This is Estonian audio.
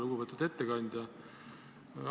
Lugupeetud ettekandja!